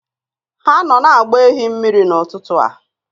Ha nọ na-agba ehi mmiri n'ụtụtụ a